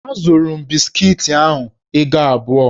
Azụrụ m biskiti ahụ ego abụọ.